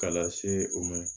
Ka lase u ma